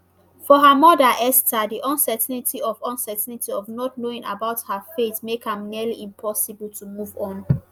for her mother esther di uncertainty of uncertainty of not knowing about her fate make am nearly impossible to move on